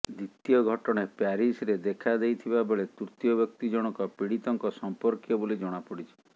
ଦ୍ୱିତୀୟ ଘଟଣା ପ୍ୟାରିସରେ ଦେଖାଦେଇଥିବା ବେଳେ ତୃତୀୟ ବ୍ୟକ୍ତି ଜଣକ ପୀଡିତଙ୍କ ସମ୍ପର୍କିୟ ବୋଲି ଜଣାପଡିଛି